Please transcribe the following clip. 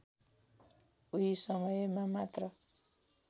उही समयमा मात्र